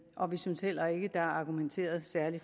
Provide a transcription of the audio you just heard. og vi synes heller ikke der er argumenteret særlig